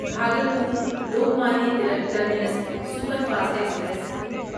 Bhagalpur Lokmanya Tilak terminus superfast express